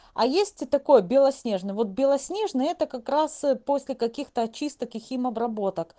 а есть такое белоснежный вот белоснежный это как раз после каких-то очистки и химобработок